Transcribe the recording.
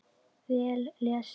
Vel lesið.